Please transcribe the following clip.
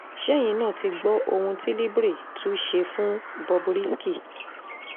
ṣẹ́yìn náà ti gbọ́ ohun tí libre tún ṣe fún bob risky